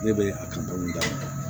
Ne bɛ a kan dɔɔni da